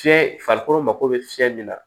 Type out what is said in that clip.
Fiyɛ farikolo mako bɛ fiyɛli min na